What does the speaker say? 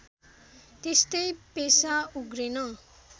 त्यस्तै पेमा उर्गेन